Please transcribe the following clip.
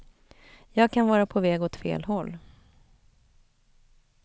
Jag kan vara på väg åt fel håll.